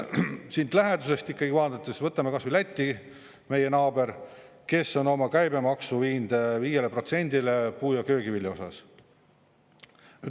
Siit lähedusest vaadates, võtame kas või Läti, meie naabri, kes on oma käibemaksu viinud 5%-le puu- ja köögivilja osas.